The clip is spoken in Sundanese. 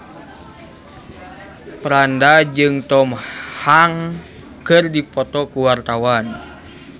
Franda jeung Tom Hanks keur dipoto ku wartawan